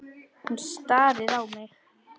Hún starir á mig.